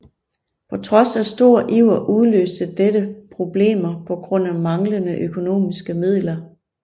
På trods af stor iver udløste dette problemer på grund af manglende økonomiske midler